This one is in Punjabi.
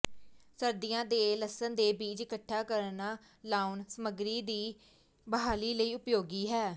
ਸਰਦੀਆਂ ਦੇ ਲਸਣ ਦੇ ਬੀਜ ਇਕੱਠਾ ਕਰਨਾ ਲਾਉਣਾ ਸਮੱਗਰੀ ਦੀ ਬਹਾਲੀ ਲਈ ਉਪਯੋਗੀ ਹੈ